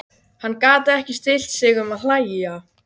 Hann gat ekki stillt sig um að hlæja.